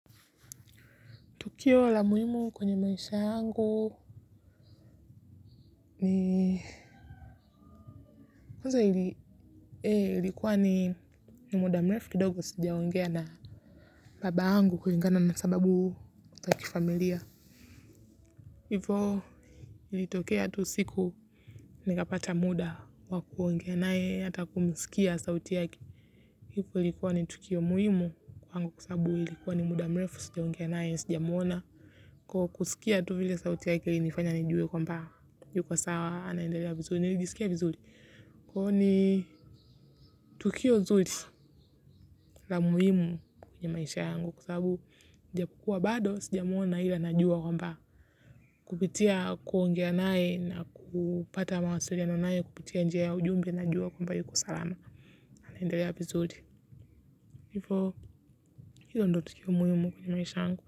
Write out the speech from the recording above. Tukio la muhimu kwenye maisha yangu ni kwanza ilikuwa ni ni muda mrefu kidogo sijaoengea na baba angu kulingana na sababu za kifamilia. Hivyo ilitokea tu siku nikapata muda wa kuoengea nae hata kumisikia sauti yake. Hivyo ilikuwa ni tukio muhimu kwa angu kwasababu ilikuwa ni muda mrefu sijaoengea nae sijamwona. Kwa kusikia tu vile sauti yake ilinifanya nijue kwamba yuko sawa anaelndelea vizuri nilijisikia vizuri kwahiyo ni tukio zuri la muhimu kwenye maisha yangu. Kwa sababu japokuwa bado sijamwona ila najua kwamba kupitia kuongea nae na kupata mawasiliano nae kupitia njia ujumbe najua kwamba yuko salama. Anaendalea vizuri. Hivo hilo ndo tukio muhimu kwenye maisha yangu.